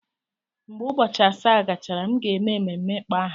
Mgbe ụbọchị asaa gachara, m ga-eme ememme ịkpọ aha.